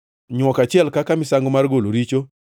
nywok achiel kaka misango mar golo richo;